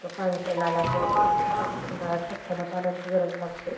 तो पाणी प्याला आलाय बहुतेक तिथं उन्हाळ्यात पक्ष्यांना पाण्यांची गरज लागते.